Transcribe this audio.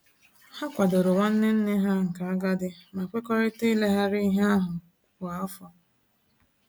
Ha kwadoro nwanne nne ha nke agadi ma kwekọrịta ileghari ihe ahụ kwa afọ